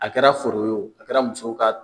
A kɛra foro ye a kɛra musow ka